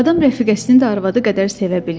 Adam rəfiqəsini də arvadı qədər sevə bilir.